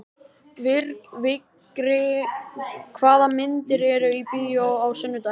Vigri, hvaða myndir eru í bíó á sunnudaginn?